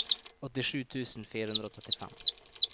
åttisju tusen fire hundre og trettifem